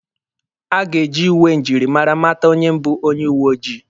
A ga-eji uwe njirimara mata onye bụ onye uwe ojii.